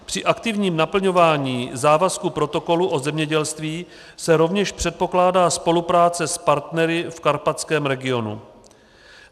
Při aktivním naplňování závazku protokolu o zemědělství se rovněž předpokládá spolupráce s partnery v karpatském regionu.